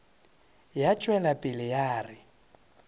ya tšwela pele ya re